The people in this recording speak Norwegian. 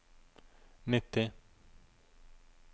nitti